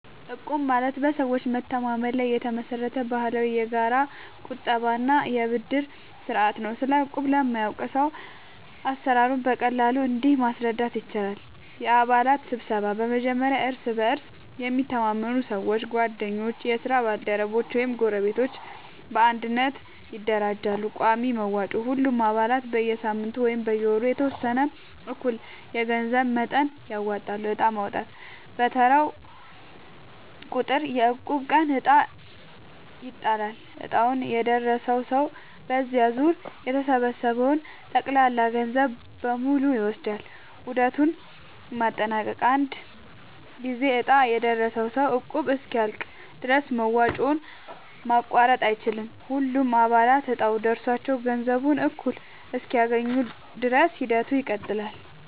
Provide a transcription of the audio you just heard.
እቁብ ማለት በሰዎች መተማመን ላይ የተመሰረተ ባህላዊ የጋራ ቁጠባ እና የብድር ስርዓት ነው። ስለ እቁብ ለማያውቅ ሰው አሰራሩን በቀላሉ እንዲህ ማስረዳት ይቻላል፦ የአባላት ስብስብ፦ በመጀመሪያ እርስ በእርስ የሚተማመኑ ሰዎች (ጓደኞች፣ የስራ ባልደረቦች ወይም ጎረቤቶች) በአንድነት ይደራጃሉ። ቋሚ መዋጮ፦ ሁሉም አባላት በየሳምንቱ ወይም በየወሩ የተወሰነ እኩል የገንዘብ መጠን ያወጣሉ። ዕጣ ማውጣት፦ በየተራው ቁጥር (የእቁብ ቀን) ዕጣ ይጣላል፤ ዕጣው የደረሰው ሰው በዚያ ዙር የተሰበሰበውን ጠቅላላ ገንዘብ በሙሉ ይወስዳል። ዑደቱን ማጠናቀቅ፦ አንድ ጊዜ ዕጣ የደረሰው ሰው እቁቡ እስኪያልቅ ድረስ መዋጮውን ማቋረጥ አይችልም። ሁሉም አባላት እጣው ደርሷቸው ገንዘቡን እኩል እስኪያገኙ ድረስ ሂደቱ ይቀጥላል።